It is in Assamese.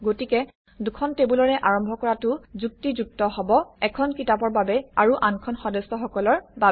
গতিকে দুখন টেবুলৰে আৰম্ভ কৰাটো যুক্তিযুক্ত হব এখন কিতাপৰ বাবে আৰু আনখন সদস্যসকলৰ বাবে